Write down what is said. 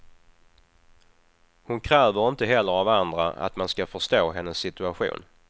Hon kräver inte heller av andra att man ska förstå hennes situation.